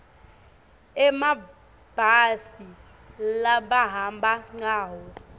emabhasi labahamba ngawo